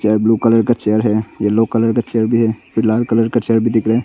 Blue colour का chair है yellow colour का चेयर है लाल कलर का चेयर भी दिख रहा है।